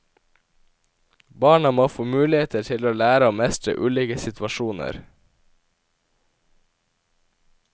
Barna må få muligheter til å lære å mestre ulike situasjoner.